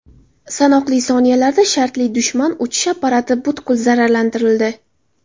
Sanoqli soniyalarda shartli dushman uchish apparati butkul zararsizlantirildi.